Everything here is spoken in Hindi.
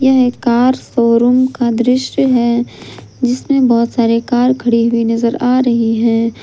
यह कार शोरूम का दृश्य है जिसमें बहुत सारे कार खड़ी हुई नजर आ रही है।